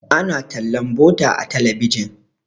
ana tallan butter a talabijin